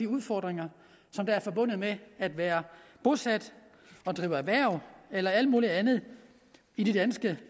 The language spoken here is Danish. udfordringer som er forbundet med at være bosat drive erhverv eller alt muligt andet i de danske